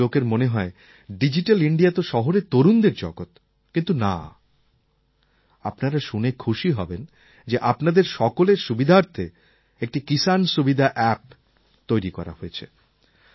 কিছু লোকের মনে হয় ডিজিট্যাল ইণ্ডিয়া তো শহরের তরুণদের জগৎ কিন্তু না আপনারা শুনে খুশি হবেন যে আপনাদের সকলের সুবিধার্থে একটি কিসান সুবিধা অ্যাপ তৈরি করা হয়েছে